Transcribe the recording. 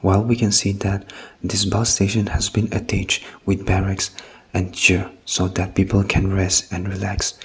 well we can see that this bus station has has been so that the people can rest and relax.